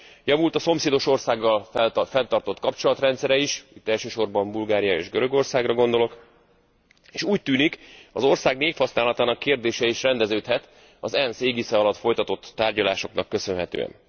Javult a szomszédos országgal fenntartott kapcsolatrendszere is elsősorban Bulgáriára és Görögországra gondolok s úgy tűnik, hogy az ország névhasználatának kérdése is rendeződhet az ENSZ égisze alatt folytatott tárgyalásoknak köszönhetően.